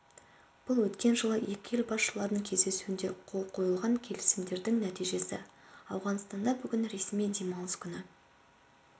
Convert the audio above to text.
бұл өткен жылы екі ел басшыларының кездесуінде қол қойылған келісімдердің нәтижесі ауғанстанда бүгін ресми демалыс күні